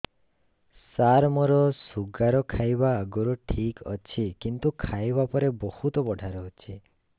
ସାର ମୋର ଶୁଗାର ଖାଇବା ଆଗରୁ ଠିକ ଅଛି କିନ୍ତୁ ଖାଇବା ପରେ ବହୁତ ବଢ଼ା ରହୁଛି